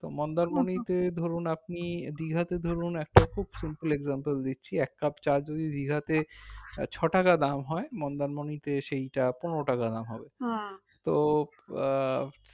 মন্দারমণি তে ধরুন আপনি দীঘাতে ধরুন একটা খুব fulfill example দিচ্ছি এক cup চা যদি দীঘাতে ছটাকা দাম হয় মন্দারমণীতে সেইটা পনেরো টাকা দাম হবে তো আহ